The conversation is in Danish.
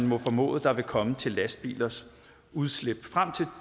må formodes der vil komme til lastbilers udslip frem til